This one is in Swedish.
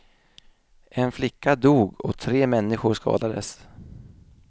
En flicka dog och tre människor skadades.